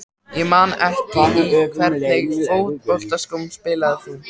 Ég man það ekki Í hvernig fótboltaskóm spilar þú?